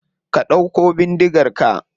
Ka dauko bindigar ka.